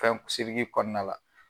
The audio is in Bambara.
Fɛn kɔɔna la